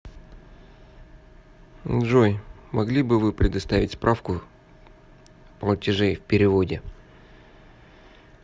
джой могли бы вы предоставить справку платежей в переводе